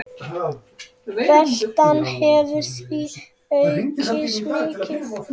Veltan hefur því aukist mikið.